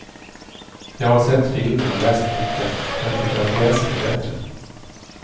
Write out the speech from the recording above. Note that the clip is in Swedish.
Jag har sett filmen och läst boken och jag tycker att pjäsen är bättre.